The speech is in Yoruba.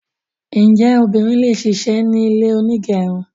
Njẹ obìnrin le ṣisẹ̀mẹ́ ní ilé onígẹrun?